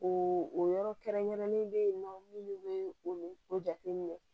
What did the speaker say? O o yɔrɔ kɛrɛnkɛrɛnnen bɛ yen nɔ minnu bɛ o jateminɛ